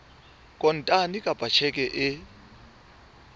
kontane kapa ka tjheke e